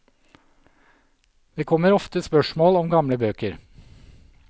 Det kommer ofte spørsmål om gamle bøker.